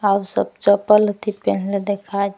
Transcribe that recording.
अब सब चप्पल हथि पेन्हले देखा --